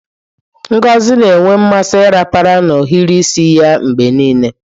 Ngozi na-enwe mmasị ịrapara na ohiri isi ya mgbe niile.